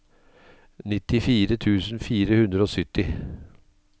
nittifire tusen fire hundre og sytti